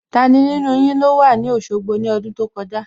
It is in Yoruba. Tani nínú yin ló wà ní Òṣogbo ní ọdún tó kọjá?